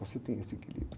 Você tem esse equilíbrio.